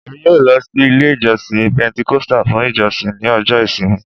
Emi yoo lọ si ile ijọsin Pentecostal fun ijosin ni ọjọ ìsinmi